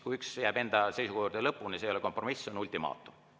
Kui üks jääb enda seisukoha juurde lõpuni, siis see ei ole kompromiss, see on ultimaatum.